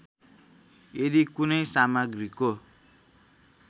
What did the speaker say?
यदि कुनै सामग्रीको